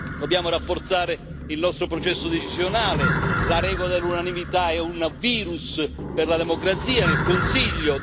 Dobbiamo rafforzare il nostro processo decisionale la regola dell'unanimità è un virus per la democrazia nel Consiglio